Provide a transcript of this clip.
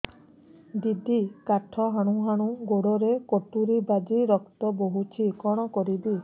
ଦିଦି କାଠ ହାଣୁ ହାଣୁ ଗୋଡରେ କଟୁରୀ ବାଜି ରକ୍ତ ବୋହୁଛି କଣ କରିବି